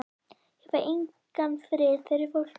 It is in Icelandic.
Ég fæ engan frið fyrir fólki.